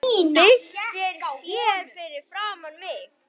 Byltir sér fyrir framan mig.